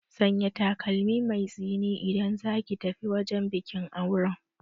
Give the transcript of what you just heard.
Sanya takalmi mai tsini idan zaki tafi wajen bikin auren